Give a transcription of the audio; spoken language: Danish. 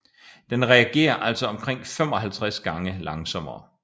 Den reagerer altså omkring 55 gange langsommere